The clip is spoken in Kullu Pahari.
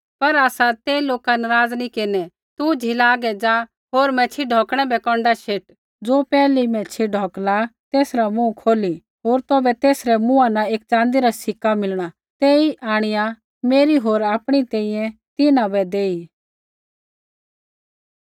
पर आसा ते लोका नराज़ नी केरनै तू झ़ीला हागै ज़ा होर मैच्छ़ी ढौकणै बै कौन्डा शेट ज़ो पैहली मैच्छ़ी ढौकिली तेसरा मुँह खोली होर तौभै तेसरै मुँहा न एक च़ाँदी रा सिक्का मिलणा तेई आंणिआ मेरी होर आपणी तैंईंयैं तिन्हां बै देई